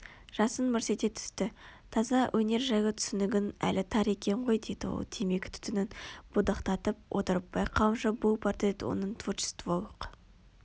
жасын мырс ете түсті таза өнер жайлы түсінігің әлі тар екен ғой деді ол темекі түтінін будақтатып отырып байқауымша бұл портрет оның творчестволық